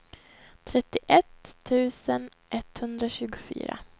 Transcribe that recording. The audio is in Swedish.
trettioett tusen etthundratjugofyra